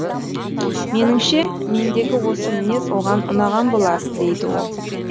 меніңше мендегі осы мінез оған ұнаған болар дейді ол